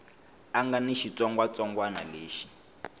a nga ni xitsongwatsongwana lexi